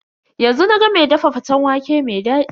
Yanzu na ga ma dafa faten waƙe mai dadi.